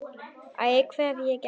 Æ, hvað hef ég gert?